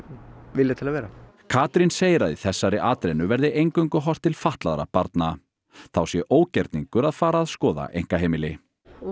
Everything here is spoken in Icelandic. vilja til að vera Katrín segir að í þessari atrennu verði eingöngu horft til fatlaðra barna þá sé ógerningur að fara að skoða einkaheimili